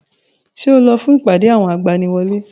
Ṣé o lọ fún ìpàdé àwọn agbaniwọlé?